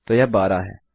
तो यह 12 है